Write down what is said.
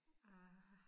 Ah